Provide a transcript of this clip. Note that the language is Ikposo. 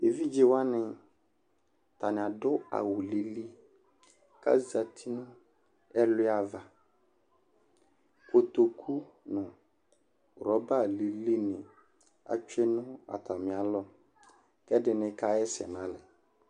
Evidze wani ata ni adu awu lili ka zati nu ɛluia vakotoku nu rɔba lili ni atsue nu atami alɔ, kɛ di ni ka ɣa ɛsɛ na lɛ